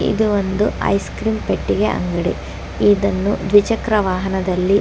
ಇದು ಒಂದು ice cream ಪೆಟ್ಟಿಗೆ ಅಂಗಡಿ ಇದನ್ನು ದ್ವಿಚಕ್ರ ವಾಹನದಲ್ಲಿ--